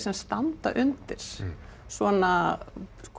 standa undir svona